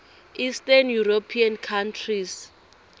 eastern european countries